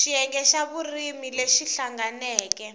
xiyenge xa vurimi lexi hlanganeke